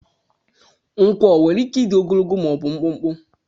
Nkwọ nwere ike ịdị ogologo ma ọ bụ mkpụmkpụ.